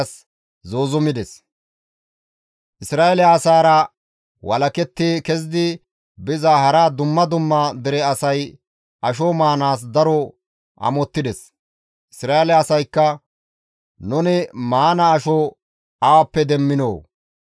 Isra7eele asaara walaketti kezidi biza hara dumma dumma dere asay asho maanaas daro amottides; Isra7eele asaykka, «Nuni maana asho awappe demminoo!